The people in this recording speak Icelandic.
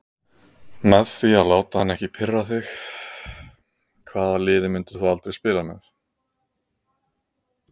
Með því að láta hann ekki pirra þig Hvaða liði myndir þú aldrei spila með?